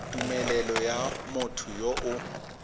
tumelelo ya motho yo o